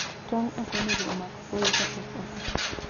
Tong okonego omak koyo kapok otoo.